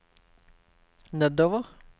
nedover